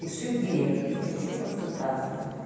пиши в директ хочу консультацию